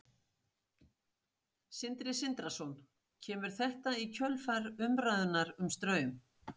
Sindri Sindrason: Kemur þetta í kjölfar umræðunnar um Straum?